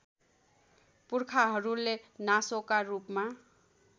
पुर्खाहरूले नासोका रूपमा